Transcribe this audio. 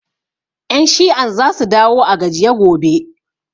Ƴan shi'an za su dawo a gajiye gobe